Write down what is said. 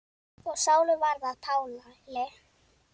Og Sál varð að Páli.